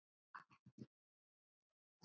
Áætlun NASA